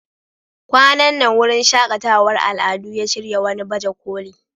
Kwanan nan wurin shaƙatawar al'adu ya shirya wani baje koli.